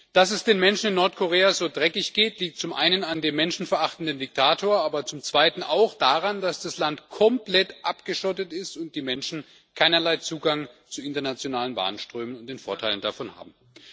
Dass es den Menschen in Nordkorea so dreckig geht, liegt zum einen an dem Menschen verachtenden Diktator, aber zum zweiten auch daran, dass das Land komplett abgeschottet ist und die Menschen keinerlei Zugang zu internationalen Warenströmen und den Vorteilen davon haben.